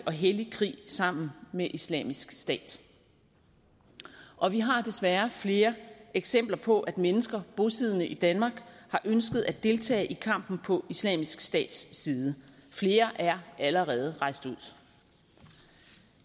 og hellig krig sammen med islamisk stat og vi har desværre flere eksempler på at mennesker bosiddende i danmark har ønsket at deltage i kampen på islamisk stats side flere er allerede rejst ud